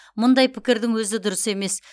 мұндай пікірдің өзі дұрыс емес